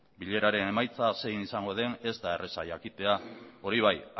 bileraren emaitza zein izango den ez da erraza jakitea hori bai